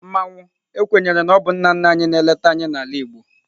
Mmanwu kwenyere na ọ bụ nna nna anyị na-eleta anyị n'ala Igbo.